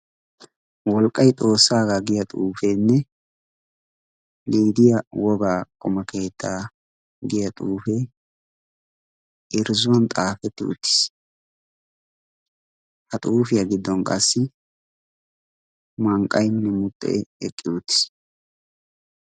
Wolqqay xoossaagaa giya xuufeenne lidiyaa wogaa qoma keettaa giya xuufee irzzuwan xaafetti utiis ha xuufiyaa giddon qassi mankkaynne mooqee eqqi utiis.